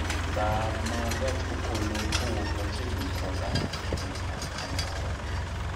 saa ma gach okolokowuok machiegni koda nyaka kamoro